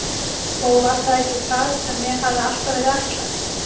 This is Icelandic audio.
Og var það ekki það sem mér hafði alltaf verið ætlað?